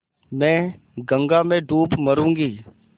मैं गंगा में डूब मरुँगी